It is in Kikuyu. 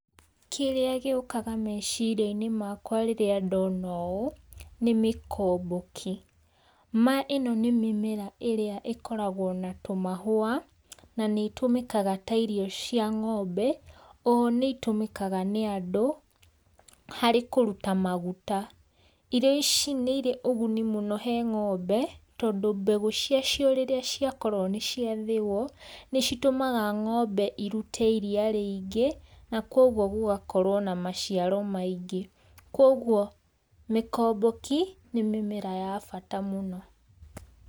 Kĩrĩa gĩukaga meciriainĩ makwa rĩrĩa ndona ũũ, nĩ mĩkomboki, ĩno ni mĩmera ĩrĩa ikoragwo na tũmahũa na nĩĩtumĩkaga ta irio cia ngombe oho nĩitumĩkaga nĩ andũ harĩ kũruta maguta irio ici nĩ ire na uguni mũno he ng'ombe tondũ mbegu ciacio rĩrĩa ciakorwo nĩciathĩĩo nĩcitumaga ng'ombe ĩrute iria rĩingĩ, na kogũo gũgakorwo na maciaro maingĩ kogũo mikomboki nĩ mimera ya bata muno.